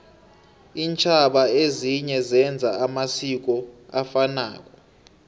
intjhaba ezinye zenza amasiko afanako